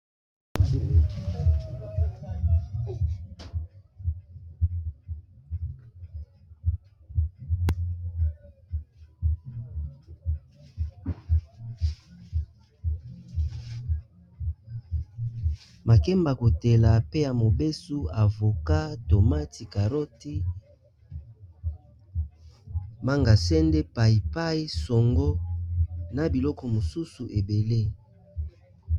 Makemba kotela, pe ya mobesu, avocat, tomati, caroti, manga sende, pai pai, songo, na biloko mosusu ebele.